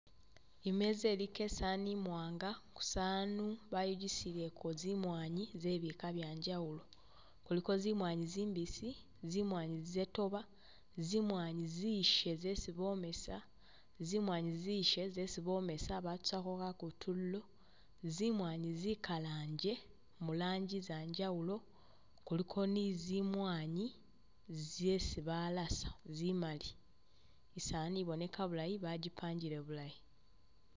Imeza iliko isaani imwanga, kusaanu bayigisileko zimwanyi zebika byanjawulo, kuliko zimwanyi zimbisi, zimwanyi zetoba, zimwanyi zishe zesi bomesa, zimwanyi zishe zesi bomesa batusako kakutululo, zimwanyi zikalangye mu lanji zanjawulo, kuliko ni zimwanyi zesi balasa zimali, isaani iboneka bulayi bajipangile bulayi